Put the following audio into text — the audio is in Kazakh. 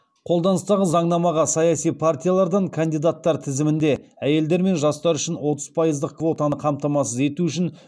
қолданыстағы заңнамаға саяси партиялардан кандидаттар тізімінде әйелдер мен жастар үшін отыз пайыздық квотаны қамтамасыз ету үшін